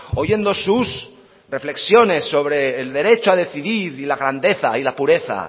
oyendo sus reflexiones sobre el derecho a decidir y la grandeza y la pureza